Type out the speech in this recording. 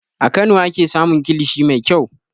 A Kano ake samun kilishi mai kyau.